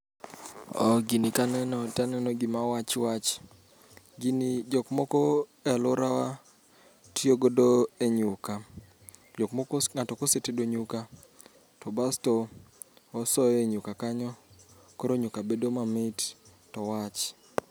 Oo gini kaneno taneno gima wach wach, gini jok moko e alworawa tiyogodo e nyukla. Jok moko ng'ato kosetedo nyuka to basto osoye nyuka kanyo koro nyukla bedo ma mit to wach.